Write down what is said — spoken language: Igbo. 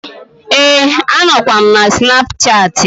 Ee, a nọkwa m na snapchattị.